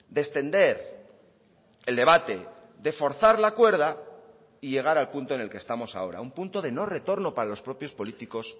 de extender el debate de forzar la cuerda y llegar al punto en el que estamos ahora un punto de no retorno para los propios políticos